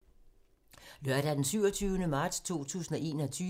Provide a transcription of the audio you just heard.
Lørdag d. 27. marts 2021